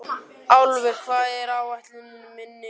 Álfur, hvað er á áætluninni minni í dag?